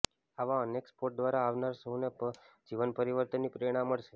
આવા અનેક સ્પોટ દ્વારા આવનાર સૌને જીવન પરિવર્તનની પ્રેરણા મળશે